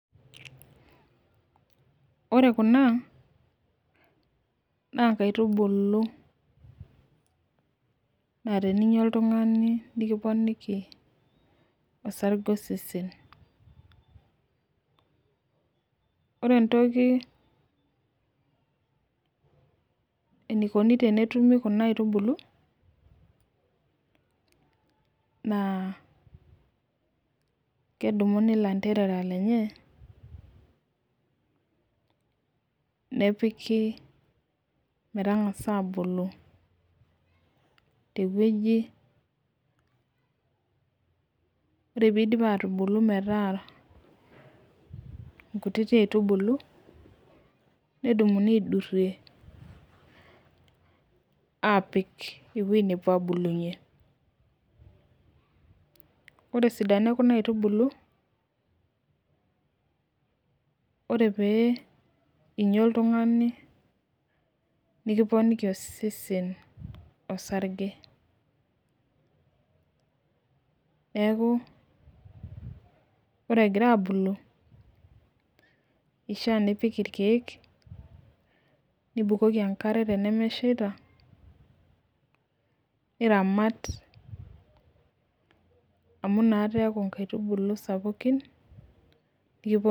Ore Kuna naa nkaitubulu, naa teninyia oltungani. nikiponiki enkare osesen, ore entoki enikoni tenetumi Kuna aitubulu. naa kedumuni ilanterera lenye, nepiki, metangasa aabulu te wueji, ore pee idipi aatubulu metaa nkutiti aitubulu. nedumuni aidurie aapik ewueji nepuo aabulunye. ore esidano ekuna aitubulu. ore pee inyia oltungani, nikiponiki osesen osarge. neeku ore egira aabulu. ishaa nipik irkek. nibukoki enkare tenemesheita. niramat amu inakata eeku nkaitubulu sapukin